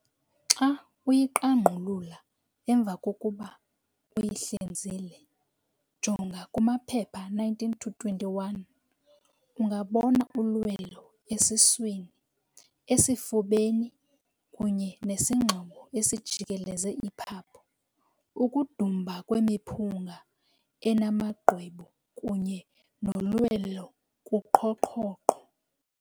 Xa uyiqangqulula emva kokuba uyihlinzile, jonga kumaphepha 19-21, ungabona ulwelo esiswini, esifubeni kunye nesingxobo esijikeleze iphapho, ukudumba kwemiphunga enamagqwebu kunye nolwelo kuqhoqhoqho.